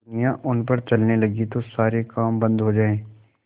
दुनिया उन पर चलने लगे तो सारे काम बन्द हो जाएँ